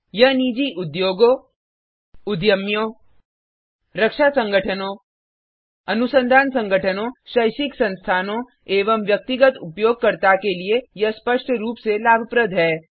यह निजी उद्योगों उद्यमियों रक्षा संगठनों अनुसंधान संगठनों शैक्षिक संस्थानों एवं व्यक्तिगत उपयोगकर्ता के लिए यह स्पष्ट रूप से लाभप्रद है